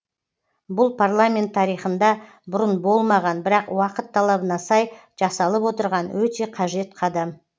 бұл парламент тарихында бұрын болмаған бірақ уақыт талабына сай жасалып отырған өте қажет қадам